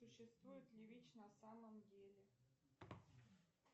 существует ли вич на самом деле